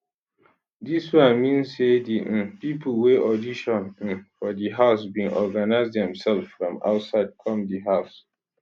dis one mean say di um pipo wey audition um for di house bin organise demselves from outside come di house